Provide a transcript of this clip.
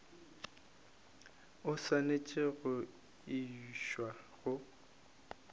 o swanetše go išwa go